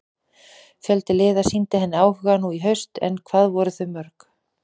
Fjöldi liða sýndi henni áhuga nú í haust en hvað voru þau mörg?